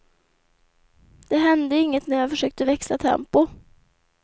Det hände inget när jag försökte växla tempo.